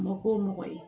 Mako mɔgɔ ye